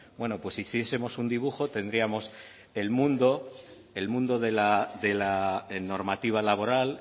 bueno pues si hiciesemos un dibujo tendríamos el mundo de la normativa laboral